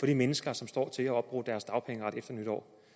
de mennesker som står til at have opbrugt deres dagpengeret efter nytår